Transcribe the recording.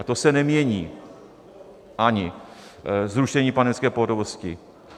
A to se nemění ani zrušením pandemické pohotovosti.